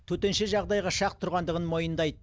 төтенше жағдайға шақ тұрғандығын мойындайды